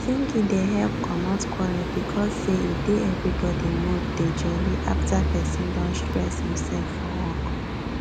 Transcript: singing dey help comot quarrel because say e dey everybody mood dey jolly after persin don stress himsef for work